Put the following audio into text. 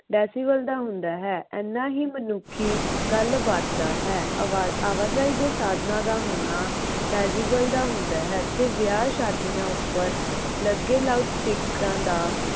decibel ਦਾ ਹੁੰਦਾ ਹੈ। ਇੰਨਾ ਹੀ ਮਨੁੱਖੀ ਗੱਲਬਾਤ ਦਾ ਹੈ। ਆਵਾਜਾਈ ਦੇ ਸਾਧਨਾਂ ਦਾ ਹੋਣਾ decibel ਦਾ ਹੁੰਦਾ ਹੈ ਅਤੇ ਵਿਆਹ ਸ਼ਾਦੀਆਂ ਉੱਪਰ ਲਾਊਡ ਲੱਗੇ ਸਪੀਕਰਾਂ ਦਾ